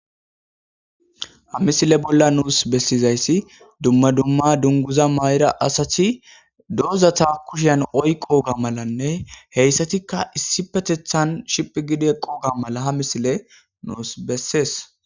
ha misile bolla nuus bessizayssi dumma dumma dunguza ma'ira asati dozata kusheyan oyqooga malanne heyssatikka issipetethan shiphigi eqooga mala ha misiley nuus bessees